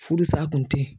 Furu sa kun tɛ yen